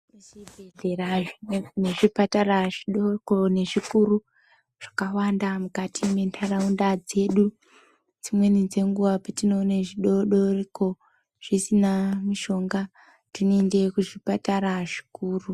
Zvibhedhlera nezvipatara zvidoko nezvikuru zvakawanda mukati mwentharaunda dzedu dzimweni dzenguwa petinoone zvidoodoriko zvisina mishonga tinoende kuzvipatara zvikuru.